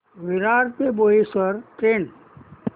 विरार ते बोईसर ट्रेन